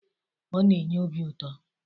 Ọ na-enye obi ụtọ.